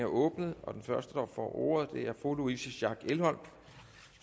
åbnet den første der får ordet er fru louise schack elholm